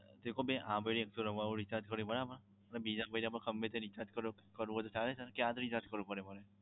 જે કો ભાઈ આ એક સો નવ્વાણું નું recharge કર્યું બરાબર અને બીજા મા ગમે તે recharge કરો કરવું તો ચાલે ને કે આ જ recharge કરવું પડે.